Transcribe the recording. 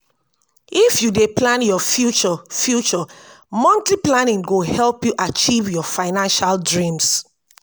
if you dey plan your future future monthly planning go help you achieve your financial dreams.